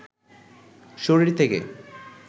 শরীর থেকে